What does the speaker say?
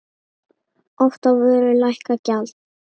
Oft á vöru lækkað gjald.